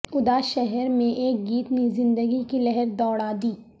اداس شہر میں ایک گیت نے زندگی کی لہر دوڑا دی